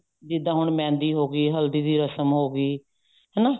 ਜਿੱਦਾਂ ਹੁਣ ਮਹਿੰਦੀ ਹੋਗੀ ਹਲਦੀ ਦੀ ਰਸਮ ਹੋ ਗਈ ਹਨਾ